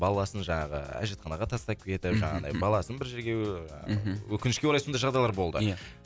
баласын жаңағы әжетханаға тастап кетіп мхм жаңағыдай баласын бір жерге ііі мхм өкінішке орай сондай жағдайлар болды ия